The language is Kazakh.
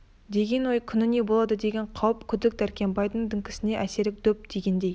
деген ой күні не болады деген қауіп күдік дәркембайдың діңкесіне әсіресе дөп тигендей